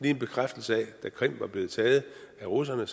er en bekræftelse af at da krim var blevet taget af russerne